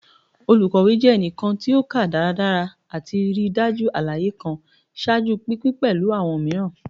Olukawewe jẹ ẹnikan ti o ka daradara ati rii daju alaye kan, ṣaaju pinpin pẹlu awọn miiran.